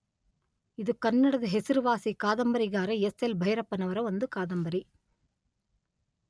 ಇದು ಕನ್ನಡದ ಹೆಸರುವಾಸಿ ಕಾದಂಬರಿಗಾರ ಎಸ್_letter ಎಲ್_letter ಭೈರಪ್ಪನವರ ಒಂದು ಕಾದಂಬರಿ.